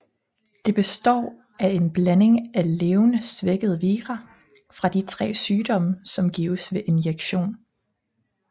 Det består af en blanding af levende svækkede vira fra de tre sygdomme som gives ved injektion